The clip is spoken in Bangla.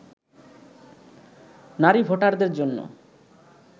নারী ভোটারদের জন্য